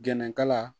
Gɛnɛkala